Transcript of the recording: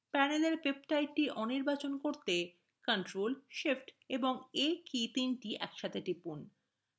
panelএর peptide the অনির্বাচন করতে ctrl shift এবং a একসাথে টিপুন